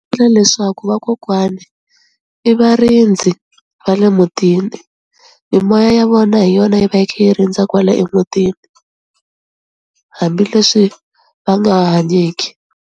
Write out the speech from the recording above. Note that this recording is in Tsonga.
leswaku vakokwani i varindzi va le mutini, mimoya ya vona hi yona yi va yi khi yi rindza kwala emutini hambileswi va nga hanyeki.